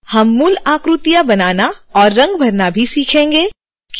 हम मूल आकृतियाँ बनाना और रंग भरना भी सीखेंगे